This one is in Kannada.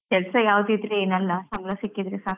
ಕೆಲಸ ಯಾವುದಿದ್ರೆ ಏನ್ ಅಲ್ಲ, ಸಂಬಳ ಸಿಕ್ಕಿದ್ರೆ ಸಾಕಲ್ಲ?